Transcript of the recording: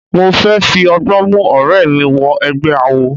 Mo fẹ́ fi ọgbọ́n mú ọ̀rẹ́ mi wọ egbẹ́ awo.